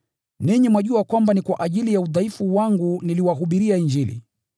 Ninyi mwajua kwamba ni kwa ajili ya udhaifu wangu niliwahubiria Injili.